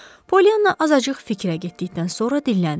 Polyanna azacıq fikrə getdikdən sonra dilləndi.